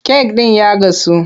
Kek ɗin ya gasu,